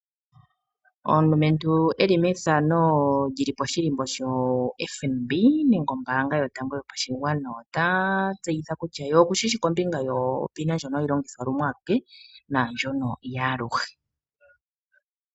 Omulumentu e li poshihako shoFNB nenge ombaanga yotango yopashigwana ota tseyitha kutya ye okushi shi kombinga yonomola yomeholamo ndjoka hayi longithwa lumwe aluke naandjono yaaluhe.